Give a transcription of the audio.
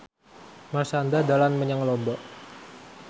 Marshanda dolan menyang Lombok